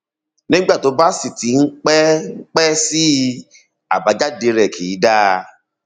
nígbà tó bá sì ti ń pẹ ń pẹ sí i àbájáde rẹ kìí dáa